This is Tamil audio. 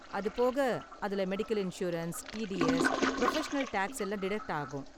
அது போக, அதுல medical insurance, TDS, professional tax எல்லாம் டிடக்ட் ஆகும்.